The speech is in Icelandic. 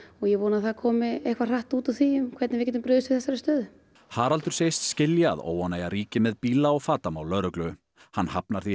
ég vona að það komi eitthvað hratt út úr því um hvernig við getum brugðist við þessari stöðu Haraldur segist skilja að óánægja ríki með bíla og fatamál lögreglu hann hafnar því